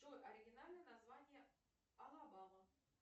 джой оригинальное название алабама